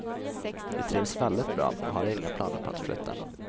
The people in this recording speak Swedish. Vi trivs väldigt bra och har inga planer på att flytta.